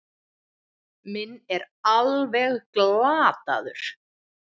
Minn er alveg glataður.